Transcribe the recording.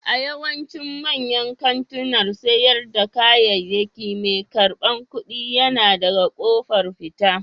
A yawaicin manyan kantunan sayar da kayayyaki mai karɓar kuɗi yana daga ƙofar fita.